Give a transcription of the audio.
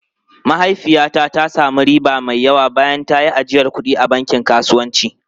Mahaifiyata ta sami riba mai yawa bayan ta yi ajiyar kuɗi a bankin kasuwanci.